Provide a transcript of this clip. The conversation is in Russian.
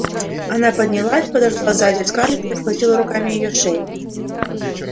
она поднялась подошла сзади к скарлетт и обхватила руками её шею